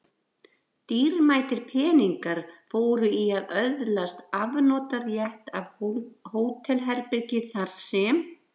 Dýrmætir peningar fóru í að öðlast afnotarétt af hótelherbergi þar sem